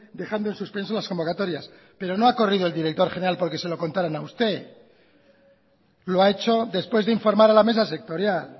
dejando en suspenso las convocatorias pero no ha corrido el director general porque se lo contaran a usted lo ha hecho después de informar a la mesa sectorial